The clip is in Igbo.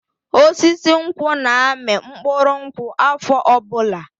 Osisi nkwụ na-amị mkpụrụ nkwụ afọ ọbụla.